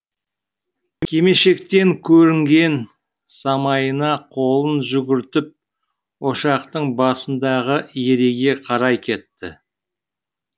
кимешектен көрінген самайына қолын жүгіртіп ошақтың басындағы ереге қарай кетті